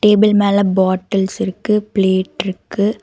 Table மேல bottles இருக்கு பிளேட்ருக்கு .